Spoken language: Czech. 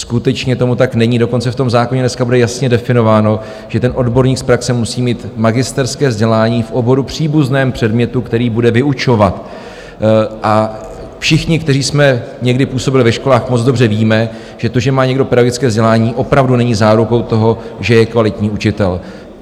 Skutečně tomu tak není, dokonce v tom zákoně dneska bude jasně definováno, že ten odborník z praxe musí mít magisterské vzdělání v oboru příbuzném předmětu, který bude vyučovat, a všichni, kteří jsme někdy působili ve školách, moc dobře víme, že to, že má někdo pedagogické vzdělání, opravdu není zárukou toho, že je kvalitní učitel.